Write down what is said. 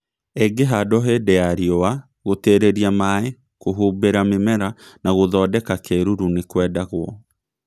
Īngĩhandwo hĩndĩ ya riũa gũtĩrĩria maĩ , kuhumbĩra mĩmera na gũthondeka kĩruru nĩkwendagwō